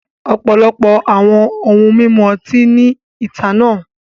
Ọ̀pọ̀lọpọ̀ àwọn ohun mímu ọtí ní ethanol.